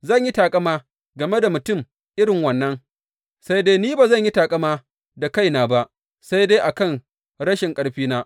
Zan yi taƙama game da mutum irin wannan, sai dai ni ba zan yi taƙama da kaina ba, sai dai a kan rashin ƙarfina.